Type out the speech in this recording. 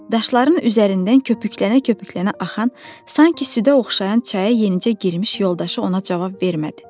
Daşların üzərindən köpüklənə-köpüklənə axan, sanki südə oxşayan çaya yenicə girmiş yoldaşı ona cavab vermədi.